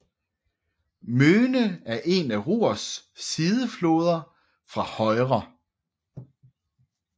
Möhne er en af Ruhrs sidefloder fra højre